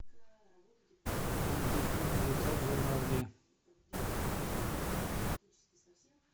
найди фильм летят журавли